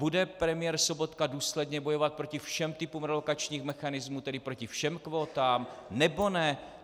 Bude premiér Sobotka důsledně bojovat proti všem typům relokačních mechanismů, tedy proti všem kvótám, nebo ne?